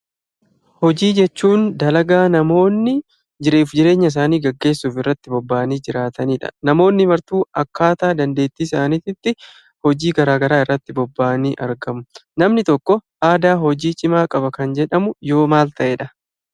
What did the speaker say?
Hojii jechuun dalagaa namoonni jiruu fi jireenya isaanii gaggeessuuf itti bobba'anii jiraatanii dha. Namoonni martu akkaataa dandeetti isaaniitti hojii garaa garaatti bobba'anii argamu. Namni tokkoo aadaa hojii cimaa qaba kan jedhamuu yoo maal ta'eedha?